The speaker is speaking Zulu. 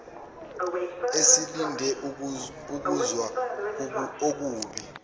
eselinde ukuzwa okubi